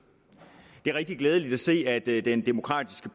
det er rigtig glædeligt at se at i den demokratiske